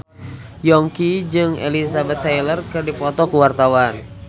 Yongki jeung Elizabeth Taylor keur dipoto ku wartawan